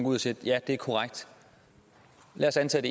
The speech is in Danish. ud og siger ja det er korrekt lad os antage at